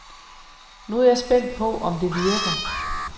Nu er jeg spændt på, om det virker.